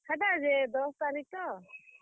ହେଟା ଯେ ଦଶ୍ ତାରିଖ୍ ତ ।